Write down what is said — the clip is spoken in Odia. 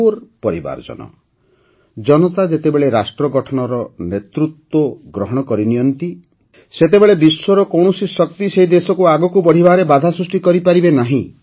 ମୋର ପରିବାରଜନ ଜନତା ଯେତେବେଳେ ରାଷ୍ଟ୍ର ଗଠନର ନେତୃତ୍ୱ ଗ୍ରହଣ କରିନିଅନ୍ତି ସେତେବେଳେ ବିଶ୍ୱର କୌଣସି ଶକ୍ତି ସେହି ଦେଶକୁ ଆଗକୁ ବଢ଼ିବାରେ ବାଧା ସୃଷ୍ଟି କରିପାରେନି